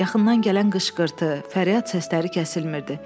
Yaxından gələn qışqırtı, fəryad səsləri kəsilmirdi.